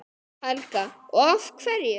Helga: Og af hverju?